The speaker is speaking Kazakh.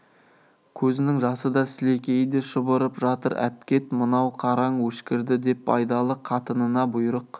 көзінің жасы да сілекейі де шұбырып жатыр әпкет мынау қараң өшкірді деп байдалы қатынына бұйрық